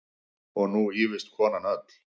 Og nú ýfist konan öll.